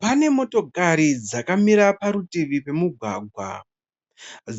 Pane motokari dzakamira parutivi pemugwagwa